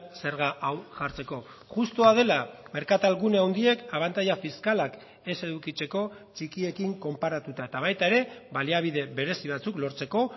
zerga hau jartzeko justua dela merkatal gune handiek abantaila fiskalak ez edukitzeko txikiekin konparatuta eta baita ere baliabide berezi batzuk lortzeko